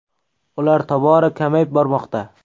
Ular tobora kamayib bormoqda.